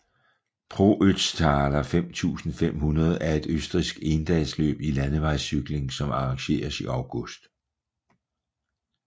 Pro Ötztaler 5500 er et østrigsk endagsløb i landevejscykling som arrangeres i august